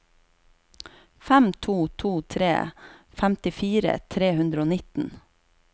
fem to to tre femtifire tre hundre og nittien